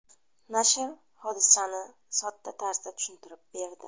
Nashr hodisani sodda tarzda tushuntirib berdi.